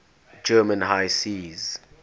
german high seas